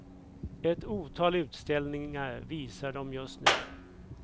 Ett otal utställningar visar dem just nu.